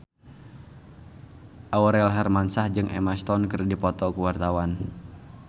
Aurel Hermansyah jeung Emma Stone keur dipoto ku wartawan